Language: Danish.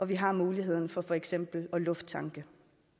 vi har muligheden for for eksempel at lufttanke